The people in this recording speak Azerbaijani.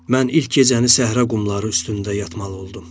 Mən ilk gecəni səhra qumları üstündə yatmalı oldum.